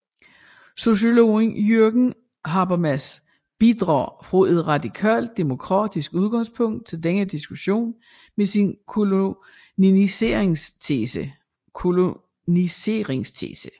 Sociologen Jürgen Habermas bidrager fra et radikalt demokratisk udgangspunkt til denne diskussion med sin koloniseringstese